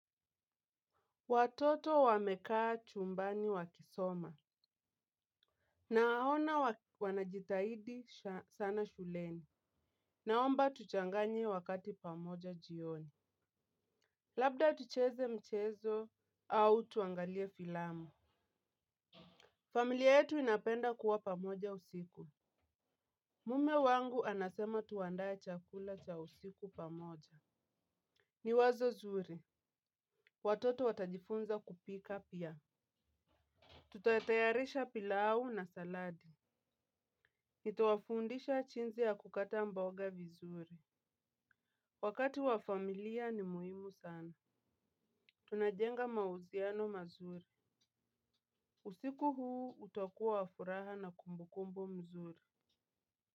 Watoto wamekaa chumbani wakisoma. Na ahona wanajitahidi sana shuleni. Naomba tuchanganye wakati pamoja jioni. Labda tucheze mchezo au tuangalie filamu. Familia yetu inapenda kuwa pamoja usiku. Mume wangu anasema tuandaye chakula cha usiku pamoja. Ni wazo zuri. Watoto watajifunza kupika pia. Tutatayarisha pilau na saladi. Nita wafundisha jinsi ya kukata mboga vizuri wakati wa familia ni muhimu sana. Tunajenga mahusiano mazuri. Usiku huu utakuwa wa furaha na kumbukumbu mzuri.